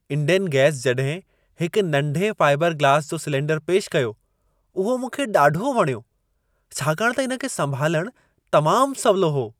Indane gas जॾहिं हिकु नंढे फाइबर ग्लास जो सिलेंडरु पेशि कियो, उहो मूंखे ॾाढो वणियो। छाकाणि त इन खे संभालणु तमामु सवलो हो।